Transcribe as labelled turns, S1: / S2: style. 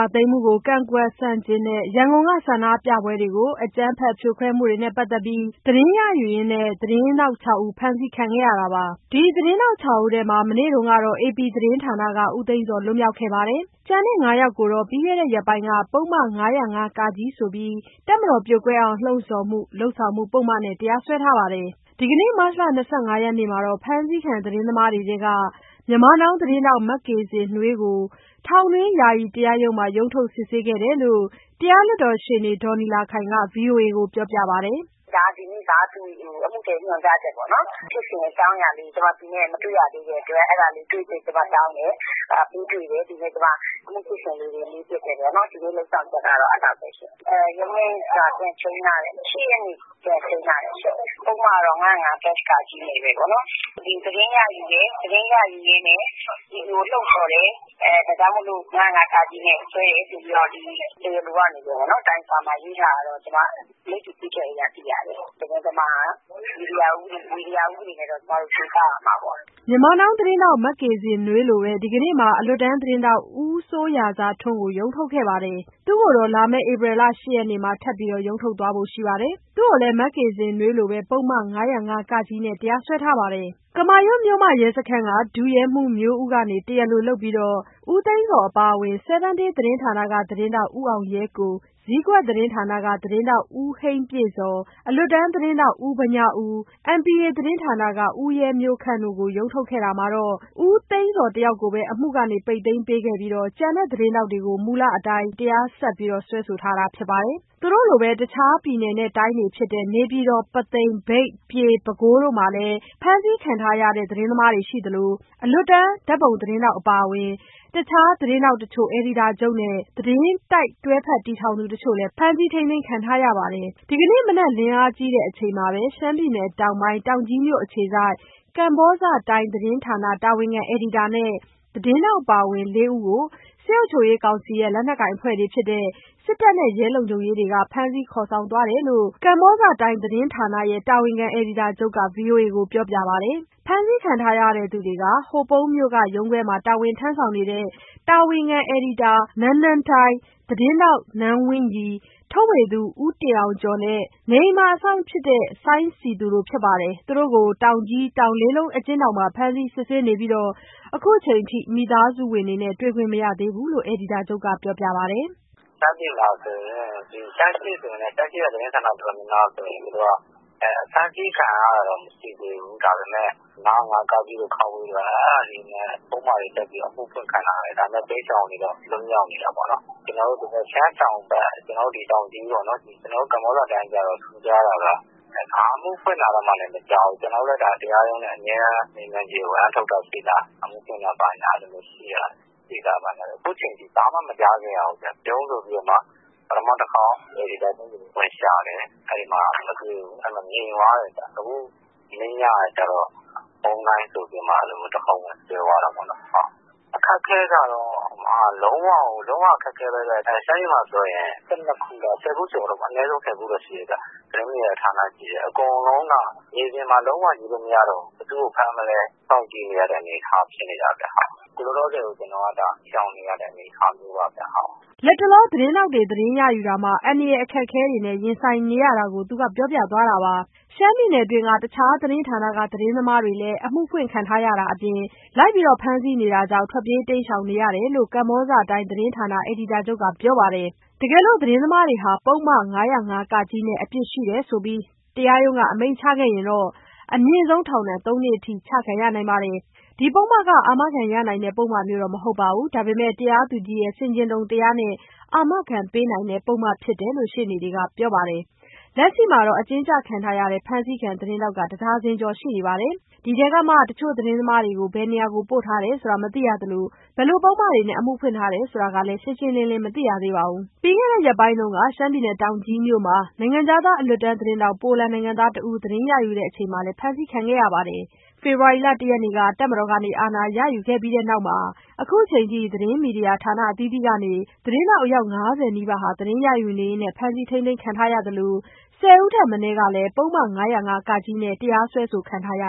S1: ာသိမ်းမှု ကန့်ကွက်ဆန့်ကျင်တဲ့ ဆန္ဒပြမှုတွေကို အကြမ်းဖက်ဖြိုခွဲမှုတွေနဲ့ ပတ်သတ်ပြီး သတင်းရယူနေရင်း သတင်းထောက် ၆ ဦး ဖမ်းဆီးခံခဲ့ရတာပါ။ ဒီသတင်းထောက် ၆ ဦးထဲမှာ မနေ့ ကတော့ AP သတင်းဌာနက ဦးသိန်းဇော်လွှတ်ခဲ့ပါတယ်။ ကျန် ၅ ယောက်ကို ပြီးခဲ့တဲ့ရက်ပိုင်းက ပုဒ်မ ၅၀၅ ဆိုတဲ့ တပ်မတော်ပြိုကွဲအောင် လှုံ့ဆော်မှု/လုပ်ဆောင်မှု ပုဒ်မနဲ့ တရားစွဲထားပါတယ်။ ဒီနေ့ မတ် ၂၅ ရက်နေ့ မှာ ဖမ်းဆီးခံ သတင်းသမားတွေထဲက မြန်မာနောင်း သတင်းထောက် မကေဇင်နွေးကို ထောင်တွင်းယာယီတရားရုံးမှာပဲ ရုံးထုတ် စစ်ဆေးခဲ့တယ်လို့ တရားလွှတ်တော်ရှေ့နေ ဒေါ်နီလာခိုင်က ဗွီအိုအေကိုပြောပါတယ်။
S2: "ဒါ ဒီနေ့က အမှုညွှန်ကြားချက်၊ ဖြစ်စဉ်အကြောင်းအရာလေးကို ကျမသူနဲ့ မတွေ့ရသေးတဲ့အတွက် အဲဒါလေး ကျမတွေ့ပြီးတော့ တောင်းတယ်။ ပေးတွေ့တယ်။ သူနဲ့ ကျမ အမှုဖြစ်စဉ်လေးတွေ မေးဖြစ်တယ်ပေါ့နော်။ ဒီနေ့လုပ်ဆောင်ချက်ကတော့ အဲဒီလောက်ပဲရှင့်။ နောက်ရုံးချိန်းက ပြန်ချိန်းထားတယ်။ ၈ ရက်နေ့ ပြန်ချိန်းထားတယ်ရှင့်။ အမှု ပုဒ်မကတော့ ၅၀၅ နဲ့ပဲပေါ့နော်။ သတင်းရယူတယ်၊ သတင်းရယူရင်းနဲ့ ပြည်သူကိုလှုံ့ဆော်တယ်။ ဒါကြောင့်မို့လို့ ၅၀၅ နဲ့ စွဲတယ်ဆိုပြီးတော့ တရားလိုကနေပြီးတော့ တိုင်စာမှာရေးထားတာတော့ မိတ္တူကူးချက်အရသိရတယ်။ သတင်းသမားက မီဒီယာဥပဒေနဲ့တော့ ကျမတို့ ချေပရမှာပေါ့။
S1: " မကေဇင်နွေးလိုပဲ ဒီကနေ့မှာ အလွတ်တန်းသတင်းထောက် ဦးစိုးရာဇာထွန်း ကိုလည်း ရုံးထုတ်ခဲ့ပြီး သူ့ကိုတော့ လာမယ့် ဧပြီ ၈ရက်နေ့မှာ ထပ်မံရုံးထုတ်သွားမှာပါ။ သူ့ကိုလည်း မကေဇင်နွေးတို့လိုပဲ ပုဒ်မ ၅၀၅ နဲ့ တရားဆွဲခံထားရတာ ဖြစ်ပါတယ်။ ကမာရွတ်မြို့မရဲစခန်းက ဒုရဲမှူးမျိုးဦးကနေ တရားလိုလုပ်ပြီး ဦးသိန်းဇော်အပါအဝင် 7Days သတင်းဌာနက သတင်းထောက် ဦးအောင်ရဲကို၊ ဇီးကွက်သတင်းဌာနက သတင်းထောက် ဦးဟိန်းပြည့်ဇော်၊ အလွတ်တန်း သတင်းထောက် ဦးဗညားဦး၊ MPA သတင်းဌာနက ဦးရဲမျိုးခန့်တို့ကို ရုံးထုတ်ခဲ့ရာမှာတော့ ဦးသိန်းဇော်တယောက်ကိုပဲ အမှုပိတ်သိမ်းပေးပြီး ကျန်သတင်းထောက်တွေကိုတော့ မူလအတိုင်း တရားဆက်ပြီးတော့ စွဲဆိုထားတာဖြစ်ပါတယ်။ သူတို့လိုပဲ တခြားပြည်နယ်တိုင်းတွေဖြစ်တဲ့ နေပြည်တော်၊ ပုသိမ်မြို့၊ မြိတ်မြို့၊ ပြည်မြို့၊ ပဲခူးမြို့တို့မှာလည်း ဖမ်းဆီးခံထားရသူတွေရှိသလို အလွတ်တန်း ဓာတ်ပုံသတင်းထောက် အပါအဝင် တခြား သတင်းထောက်တချို့၊ အယ်ဒီတာချုပ်နဲ့ သတင်းတိုက်တွဲဖက်တည်ထောင်သူတချို့လည်း ဖမ်းဆီးထိန်းသိမ်းခံထားရပါတယ်။ ဒီကနေ့မနက် လင်းအားကြီးအချိန်မှာပဲ ရှမ်းပြည်နယ် တောင်ကြီးမြို့ အခြေစိုက် ကမ္ဘောဇတိုင်းသတင်းဌာန တာဝန်ခံ အယ်ဒီတာနဲ့ သတင်းထောက် အပါအဝင် လေး ဦးကို စစ်အုပ်ချုပ်ရေးကောင်စီရဲ့ လက်နက်ကိုင်အဖွဲ့တွေဖြစ်တဲ့ စစ်တပ်နဲ့ ရဲလုံခြုံရေးတို့က ဖမ်းဆီးခေါ်ဆောင်သွားတယ်လို့ အဲဒီသတင်းဌာန တာဝန်ခံအယ်ဒီတာချုပ်က ဗွီအိုအေကိုပြောပြပါတယ်။ ဖမ်းဆီးခံရသူတွေဟာ ဟိုပုံးမြို့က ရုံးခွဲမှာ တာဝန်ထမ်းဆောင်နေတဲ့ တာဝန်ခံ အယ်ဒီတာ နန်းနန်းတိုင်း၊ သတင်းထောက် နန်းဝင်းရီ၊ ထုတ်ဝေသူ ဦးတင်အောင်ကျော်နဲ့ နေအိမ်အစောင့်ဖြစ်သူ စိုင်းစည်သူတို့ ဖြစ်ပါတယ်။ သူတို့ကို တောင်ကြီး တောင်လေးလုံး အကျဉ်းထောင်မှာ ဖမ်းဆီးစစ်ဆေးနေပြီး ခုချိန်ထိ မိသားစုဝင်တွေနဲ့ တွေ့ခွင့်မရသေးဘူးလို့ အယ်ဒီတာချုပ်ကပြောပါတယ်။ "
S3: ရှမ်းပြည်မှာဆိုရင် ရှမ်းအရှေ့ဆိုရင်လည်း ရှမ်းအရှေ့က သတင်းဌာနတော်တော်များများဆိုရင် ဖမ်းခံရတာတော့ မရှိသေးဘူး။ ဒါပေမဲ့ ပုဒ်မ ၅၀၅ တို့၊ တို့နဲ့ ပုဒ်မတွေတပ်ပြီးတော့ အမှုဖွင့်ခံထားရတယ်။ ဒါပေမဲ့ တိမ်းရှောင်နေတော့ လွတ်မြောက်နေတာပေါ့နော်။ ရှမ်းတောင်ဘက် ကျနော်တို့တောင်ကြီးပေါ့နော်... ကမ္ဘောဇတိုင်းကျတော့ ထူးခြားတာက ဘာအမှုဖွင့်တာမှလည်း မကြားဘူး။ ကျနော်တို့ တရားရုံးနဲ့ အမြဲတမ်းမေးမြန်းကြည့်တယ်၊ ဝရမ်းထုတ်တာရှိလား၊ အမှုဖွင့်တာရှိလား။ အဲဒီလိုမျိုးမေးမြန်းကြည့်တော့ အခုချိန်ထိ ဘာမှမကြားခဲ့ရဘူးဗျ။ ဗြုန်းဆိုပြီး ပထမတခေါက် အယ်ဒီတာချုပ်အိမ် ဝင်ရှာတယ်။ ငြိမ်သွားတယ်။ နောက်မနေ့ညကကျတော့ ဝုန်းဒိုင်းဆိုပြီးတော့မှ တခေါက် ဝင်ဆွဲသွားတာပေါ့နော်။ အခက်အခဲကတော့ လုံးဝအခက်အခဲပဲဗျ။ ရှမ်းပြည်မှာဆိုရင် အနည်းဆုံး ၁၀ ခုတော့ရှိတယ်ဗျ... သတင်းဌာနတွေရှိတယ်။ အကုန်လုံးက မြေပြင်မှာ ဘယ်သူမှ ယူလို့မရတော့ဘူး။ ဘယ်သူ့ကိုဖမ်းမလဲ စောင့်ကြည့်နေရတဲ့အနေအထားဖြစ်နေတာဗျ။ အခုလောလောဆယ်တော့ ကျနော်က ရှောင်နေရတဲ့အနေအထားမျိုးပါဗျ။"
S1: လတ်တလော သတင်းထောက်တွေ သတင်းရယူတာမှာ အန္တရာယ်အခက်အခဲတွေနဲ့ ရင်ဆိုင်နေရတာကို ပြောပြသွားတာပါ။ ရှမ်းပြည်နယ်အတွင်းမှ တခြားသတင်းဌာနတွေက သတင်းသမားတွေလည်း အမှုဖွင့်ခံထားရတာတွေအပြင် လိုက်လံဖမ်းဆီးနေရတာမို့ ထွက်ပြေး တိမ်းရှောင်နေရတယ်လို့ ကမ္ဘောဇတိုင်းသတင်းဌာန အယ်ဒီတာချုပ်ကပြောပါတယ်။ တကယ်လို့ သတင်းသမားတွေဟာ ပုဒ်မ ၅၀၅ နဲ့ အပြစ်ရှိတယ်လို့ တရားရုံးက အမိန့်ချရင်တော့ အမြင့်ဆုံး ထောင်ဒဏ် သုံးနှစ်အထိ ချခံရနိုင်ပါတယ်။ ဒီပုဒ်မဟာ အာမခံရနိုင်တဲ့ ပုဒ်မမျိုး မဟုတ်ပါဘူး။ တရားသူကြီးရဲ့ ဆင်ခြင်တုံတရားနဲ့ အာမခံပေးနိုင်တဲ့ ပုဒ်မဖြစ်တယ်လို့ ရှေ့နေတွေကပြောပါတယ်။ လက်ရှိမှာ အကျဉ်းကျခံရတဲ့ ဖမ်းဆီးခံသတင်းထောက်ဟာ တဒါဇင်ကျော် ရှိနေပါတယ်။ ဒီထဲကမှ တချို့သတင်းသမားတွေမှာ ဘယ်နေရာမှာ ပို့ထားတယ်ဆိုတာမသိရသလို၊ ဘယ်လို ပုဒ်မတွေနဲ့ အမှုဖွင့်ထားလည်းဆိုတာကလည်း ရှင်းရှင်းလင်းလင်း မသိရသေးပါဘူး။ ပြီးခဲ့တဲ့ ရက်ပိုင်းက တောင်ကြီးမြို့မှာ နိုင်ငံခြားသား အလွတ်တန်းသတင်းထောက် ပိုလန်နိုင်ငံသားတဦး သတင်းရယူတဲ့အချိန်မှာလည်း ဖမ်းဆီးခံခဲ့ရပါတယ်။ ဖေဖော်ဝါရီ ၁ ရက်နေ့မှာ တပ်မတော်က အာဏာရယူခဲ့ပြီးနောက်မှာ အခုချိန်ထိ သတင်းမီဒီယာဌာနအသီးသီးကနေ သတင်းထောက် အယောက် ၅၀ နီးပါး သတင်းရယူနေရင်း ဖမ်းဆီးထိန်းသိမ်းခံခဲ့ရပြီး ၁၀ ဦးထက် မနည်း ပုဒ်မ ၅၀၅ နဲ့ တရားစွဲဆိုခံထားရ